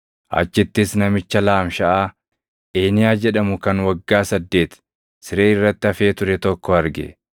Achittis namicha laamshaʼaa Eeniyaa jedhamu kan waggaa saddeeti siree irratti hafee ture tokko arge.